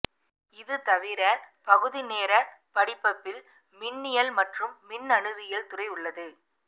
இது தவிர பகுதி நேரப்படிபபில் மின்னியல் மற்றும் மின்னணுவியல் துறை உள்ளது